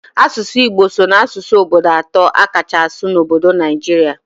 Asụsụ Igbo so n'asụsụ obodo atọ a kacha asụ n'obodo Naijirịa